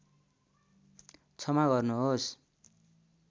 क्षमा गर्नुहोस्